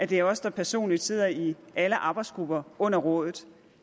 det er os der personligt sidder i alle arbejdsgrupper under rådet